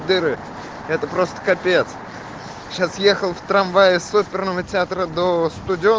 это просто капец сейчас ехал в трамвае с оперным театром да